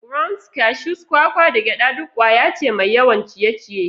Grounds, cashews, kwakwa, da gyada duk ƙwaya ce mai yawan ciye-ciye.